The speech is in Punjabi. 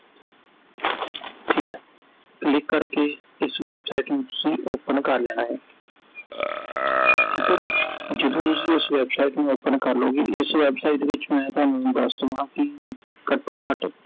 ਠੀਕ ਐ click ਕਰ ਕੇ, ਇਸ website ਨੂੰ ਤੁਸੀਂ open ਕਰ ਲੈਣਾ ਹੈ ਠੀਕ ਆ ਜੀ I ਜਦੋਂ ਅਸੀਂ ਇਸ website ਨੂੰ open ਕਰ ਲਓਗੇ I ਇਸ website ਵਿਚ ਮੈਂ ਥੋਨੂੰ ਦਸ ਦਵਾ ਕਿ ਘਟੋ-ਘੱਟ